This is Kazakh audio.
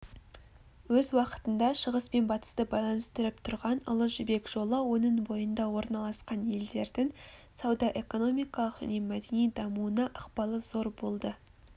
өз уақытында шығыс пен батысты байланыстырып тұрған ұлы жібек жолы оның бойында орналасқан елдердің сауда-экономикалық және мәдени дамуына ықпалы зор болды